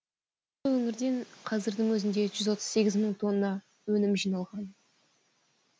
ал осы өңірден қазірдің өзінде жүз отыз сегіз мың тонна өнім жиналған